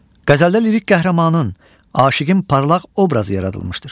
Qəzəldə lirik qəhrəmanın, aşiqin parlaq obrazı yaradılmışdır.